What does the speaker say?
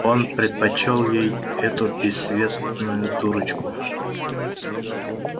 он предпочёл ей эту бесцветную дурочку